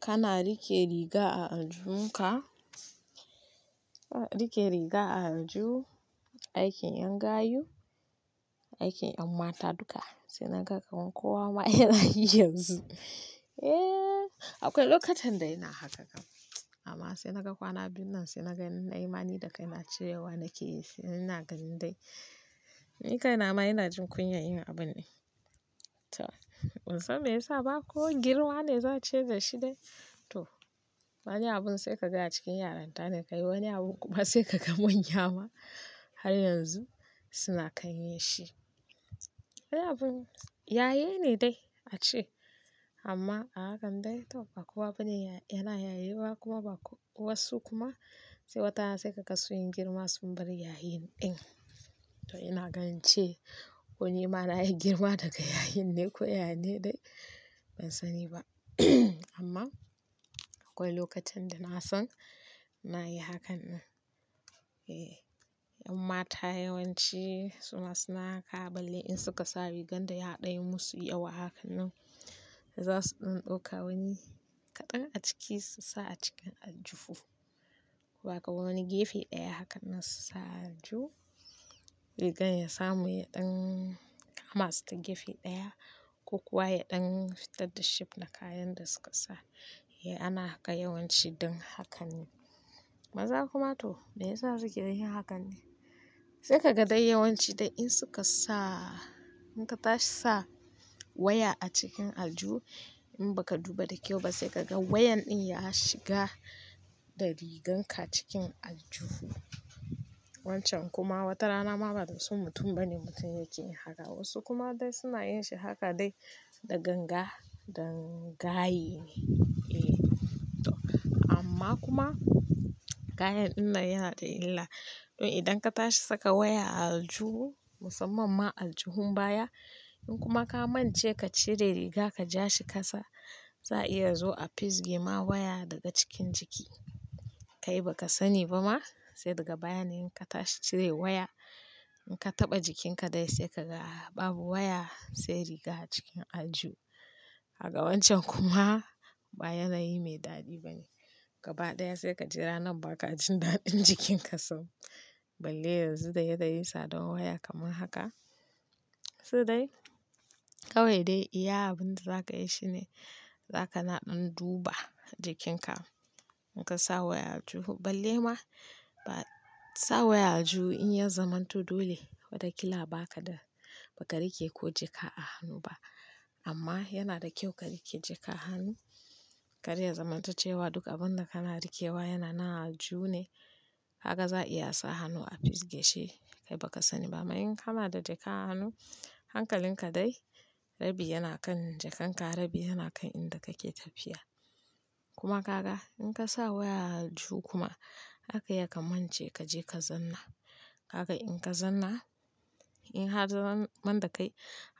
Kana rike riga a aljihun ka, a riƙe riga a aljihu, aikin ƴan gayu aikin ƴan mata duka sai na ga kamar kowa ma yana yi yanzu. Eh, akwai lokutan da yana haka, amma sai na ga kwana biyun nan, sai na ga na in nai ma ni da kai na cirewa nake yi, sai na ga indai ni kai na ma ina jin kunya yin abun. To ban san me ya sa ba ko girma ne za a ce dashi dai. To wani abun sai ka ga a cikin yarinta ne ka yi, wani abun kuma sai ka ga manya ma har yanzu suna kan yin shi. Wani abin yaye ne dai a ce amma a hakan dai to ba kowa bane yana yayewa kuma ba wasu kuma sai watarana sai ka ga sun yi girma sun bar yayi ɗin. To ina ga in ce ko nima na yi girma daga yayin ne ko yane dai ban sani ba. Amma akwai lokutan da na san na yi hakan nan. Eh, ƴan mata yawanci suna suna ƙaɓale in suka sa riganda ya ɗan musu yawa a hakan nan za su ɗan ɗauka wani kaɗan a ciki su sa a cikin aljuhu ko ba kawai wani gefe ɗaya hakan nan su sa a aljihu. Rigan ya samu yaɗan kama su ta gefe ɗaya ko kuwa yaɗan fitar da shape na kayan da suka sa. Eh ana haka yawanci ɗin hakan ne. Maza kuma to me yasa za su ke yin hakan ne? Sai ka ga dai yawanci dai in suka sa in ka tashi sa waya a cikin aljihu in ba ka duba da kyau ba sai ka ga wayan ɗin ya shiga da riganka cikin aljihu. Wancan kuma wata rana ma ba da son mutum bane mutum yake yin haka. Wasu kuma dai suna yin shi haka dai da ganga dan gaye ne. Eh to amma kuma kayan ɗin nan yana da illa. To idan ka tashi saka waya a alju musamman ma aljuhun baya in kuma ka mance ka cire riga ka ja shi kasa za iya zo a fisge ma waya daga cikin jiki. Kai ba ka sani ba ma sai daga baya ne in ka tashi cire waya in ka taɓa jikinka dai sai ka ga babu waya sai riga a cikin aljihu. Gaka wancan kuma ba yanayi mai daɗi bane. Gaba ɗaya sai ka ji ranar ba ka jin daɗin jikinka sam. Balle yanzu da yadda yai tsadan waya kamar haka. Su dai kawai dai iya abin da za ka yi shine za ka naɗan duba jikinka in ka sa waya a aljihu balle ma ba sa waya a aljihu in ya zamanto dole wata ƙila ba ka da ba ka riƙe ko jaka a hannu ba. Amma yana da kyau ka riƙe jaka a hannu. Karya zamantoce wa duk abun da kana riƙewa yana nan a aljihu ne. Haka za a iya sa hannu a fisgeshi kai ba ka sani ba. Ammaa in kana da jaka a hannu hankalin ka dai rabi yana kan jakanka rabi yana kan inda kake tafiya. Kuma ka ga in ka sa waya a aljihu kuma zaka iya ka mantace ka je ka zanna. Haka in ka zanna in har zaman da kai